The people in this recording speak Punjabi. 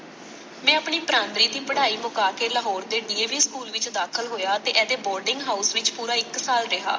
ਮੈਂ ਆਪਣੀ Primary ਦੀ ਪੜਾਈ ਮੁਕਾ ਕੇ ਲਾਹੌਰ ਦੇ DAVschool ਵਿਚ ਦਾਖ਼ਲ ਹੋਇਆ, ਤੇ ਇਹਦੇ boarding house ਵਿਚ ਪੂਰਾ ਇੱਕ ਸਾਲ ਰਿਹਾ।